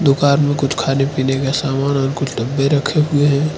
दुकान में कुछ खाने पीने का सामान और कुछ डब्बे रखे हुए हैं।